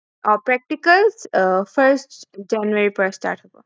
আৰু practical আহ first january ৰ পৰা start হব